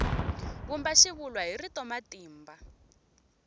vumba xivulwa hi rito matimba